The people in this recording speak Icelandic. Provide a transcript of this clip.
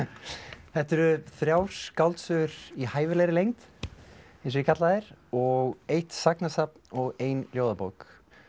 þetta eru þrjár skáldsögur í hæfilegri lengd eins og ég kalla þær og eitt og ein ljóðabók